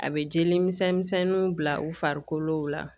A bɛ jeli misɛnminw bila u farikolo la